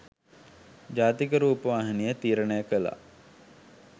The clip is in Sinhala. ජාතික රූපවාහිනිය තීරණය කළා.